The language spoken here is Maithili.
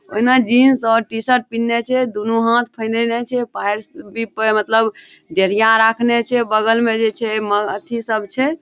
उ ना जींस और टी-शर्ट पिन्हले छे दुनू हाथ फैलैले छे फर्श भी प मतलब जलीया राखले छे बगल में जे छे म अथी सब छे।